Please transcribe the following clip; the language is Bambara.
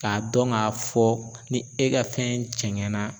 Ka dɔn ka fɔ ni e ka fɛn jɛngɛnna